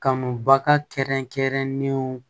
Kanubaga kɛrɛnkɛrɛnlenw